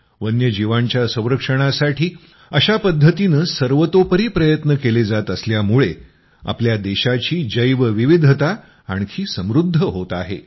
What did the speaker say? वन्य जीवांच्या संरक्षणासाठी अशा पद्धतीनं सर्वतोपरी प्रयत्न केले जात असल्यामुळे आपल्या देशाची जैव विविधता आणखी समृद्ध होत आहे